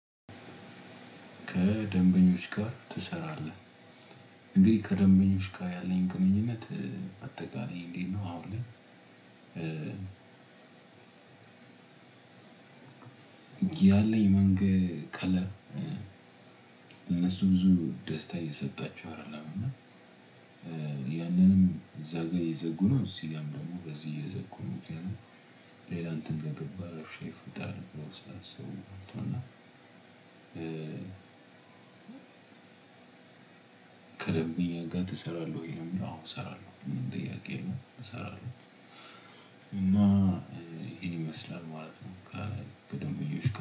ከደንበኞች ጋር ትሰራለህ? እኔ ከደንበኞች ጋር ያለኝ ቅመኝነት አጠቃላይ እንዴት ነው። አሁን ያለኝ መንገድ ቀለል እነሱ ብዙ ደስታ እየሰጣችሁ አይደለም። እና ያንንም እዛ ጋር የዘጉ ነው። እዚህ ጋር ደግሞ በዚህ እየዘጉ ግን ሌላን ትንገት ባረፍሽ ይፈጠራል ብሎ ስላሰቡ ነው። እና ከደንብ ጋር ትሰራለህ ወይ ለምን? አዎ እሰራለሁ ጥያቄ የለም እሰራለሁ። እና ይሄን ይመስላል ማለት ነው። ከደንብዬዎች ጋር